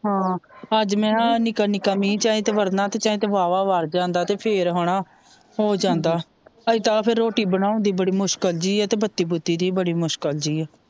ਹ ਅੱਜ ਮਹਈਆ ਨਿੱਕਾ ਨਿੱਕਾ ਮੀਂਹ ਚਾਹੇ ਜੇ ਵਰਨਾਂ ਤੇ ਵਾਲਾਂ ਵਰ ਜਾਂਦਾ ਤੇ ਫੇਰ ਹਣਾ ਹੋ ਜਾਂਦਾ ਇੱਦਾਂ ਫੇਰ ਰੋਟੀ ਬਣਾਉਣ ਦੀ ਬੜੀ ਮੁਸ਼ਕਿਲ ਜੀ ਏ ਤੇ ਬੱਤੀ ਬੁਤੀ ਦੀ ਬੜੀ ਮੁਸ਼ਕਿਲ ਜੀ ਏ,